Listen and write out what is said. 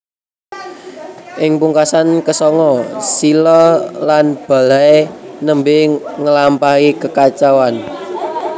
Ing pungkasan ke sanga Silla lan Balhae nembe ngelampahi kekacauan